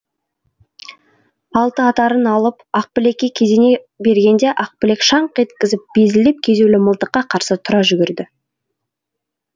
алтыатарын алып ақбілекке кезене бергенде ақбілек шаңқ еткізіп безілдеп кезеулі мылтыққа қарсы тұра жүгірді